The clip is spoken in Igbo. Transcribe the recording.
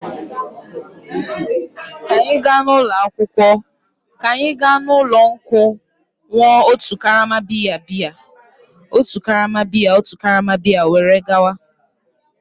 Ka anyị gaa n'ụlọ nkwụ ṅụọ otu karama bịya otu karama bịya were gawa.